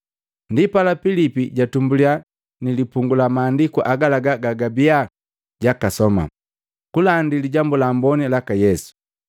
Ndipala Pilipi jatumbuliya nilipungu la maandiku agalaga gajabia jwakasoma, kulandi Lijambu la Amboni laka Yesu.